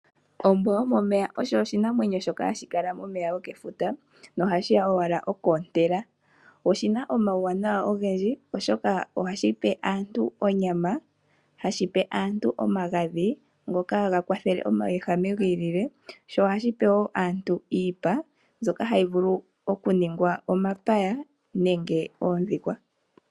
Ombwa yomomeya osho oshinamwenyo shoka hashi kala momeya gokefuta nohashi ya owala okwoontela. Oshina omauwanawa ogendji oshoka ohashi pe aantu onyama. Ohashi pe aantu omagadhi ngoka haga kwathele omauwehame gi ilile. Ohashi pe wo aantu iipa mbyoka hayi vulu okuningwa omapaya nenge oondhikwa.